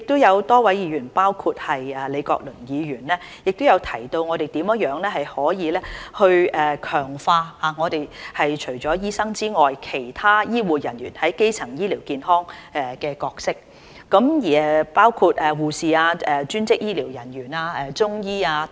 有多位議員如李國麟議員也提到，我們如何能強化除了醫生以外其他醫護人員在基層醫療健康的角色，包括護士、專職醫療人員、中醫等。